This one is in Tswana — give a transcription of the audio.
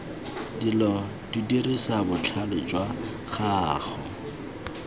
dilo dirisa botlhale jwa gago